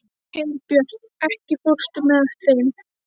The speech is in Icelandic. Herbjört, ekki fórstu með þeim?